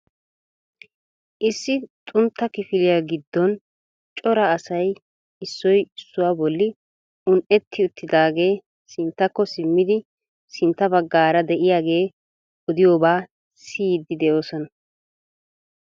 issi xuntta kifiliya giddon cora asay issoy issuwa bolli un'etti uttiidaagee sinttakko simmidi sintta baggaara de'iyaagee oddiyooba siyyidi de'oosona .